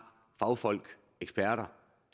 fagfolk og eksperter